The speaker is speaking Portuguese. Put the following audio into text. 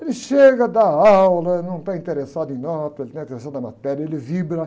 Ele chega, dá aula, não está interessado em nota, ele está interessado na matéria, ele vibra.